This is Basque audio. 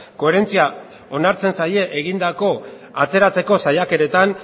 koherentzia onartzen zaie egindako atzeratzeko saiakeretan